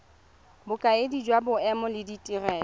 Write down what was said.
bokaedi jwa boemedi le ditirelo